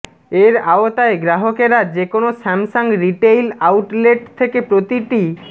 এর আওতায় গ্রাহকেরা যেকোনো স্যামসাং রিটেইল আউটলেট থেকে প্রতিটি